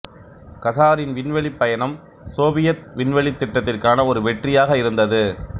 ககாரின் விண்வெளிப் பயணம் சோவியத் விண்வெளித் திட்டத்திற்கான ஒரு வெற்றியாக இருந்தது